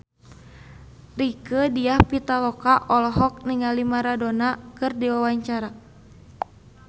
Rieke Diah Pitaloka olohok ningali Maradona keur diwawancara